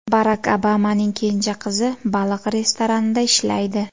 Barak Obamaning kenja qizi baliq restoranida ishlaydi .